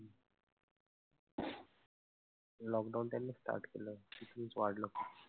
Lockdown त्यांनी start केला आणि त्यांनीच वाढलं.